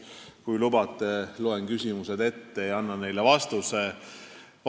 Kui lubate, loen küsimused ette ja annan neile vastused.